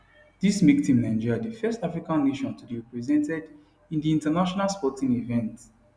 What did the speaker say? dis make team nigeria di first african nation to dey represented in di international sporting event